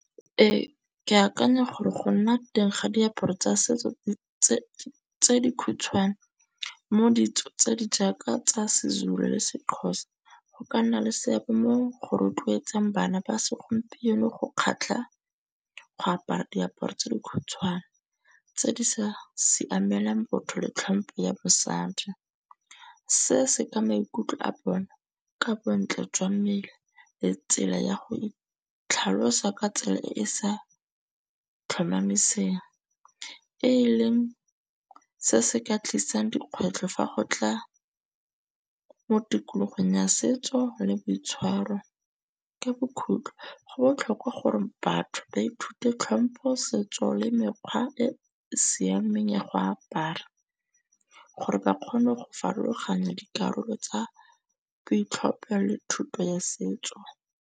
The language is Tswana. Ee, ke akanya gore go nna teng ga diaparo tsa setso tse di khutshwane. Mo ditso tse di jaaka tsa se-Zulu le se-Xhosa. Go ka nna le seabe mo go rotloetsang bana ba segompieno go kgatlha go apara diaparo tse di khutshwane, tse di sa siamelang botho le tlhompho ya mosadi. Se se ka maikutlo a bone ka bontle jwa mmele le tsela ya go itlhalosa ka tsela e e sa tlhomamiseng. E leng se se ka tlisang dikgwetlho fa go tla mo tikologong ya setso le boitshwaro. Ka bokhutlo go botlhokwa gore batho ba ithute tlhompho, setso le mekgwa e e siameng ya go apara. Gore ba kgone go farologanya dikarolo tsa boitlhophelo le thuto ya setso.